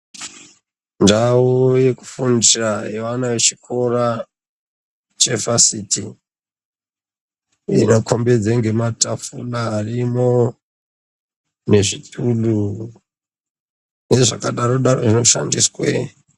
Ndau yekufundira yevana vechikora chevhasiti inokumbidzwa nematafura arimo nezvituru nezvakadaro daro zvino shandiswa.